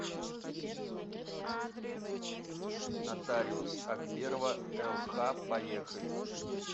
нотариус акберова лх поехали